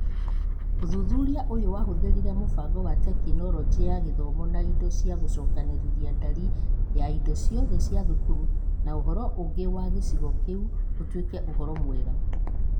Ũthuthuria ũyũ wahũthĩrire mũbango wa Tekinoronjĩ ya Gĩthomo na indo cia gũcokanĩrĩria ndarĩ ya indo ciothe cia thukuru na ũhoro ũgĩ wa gĩcigo kĩu ũtuĩke ũhoro ũmwe.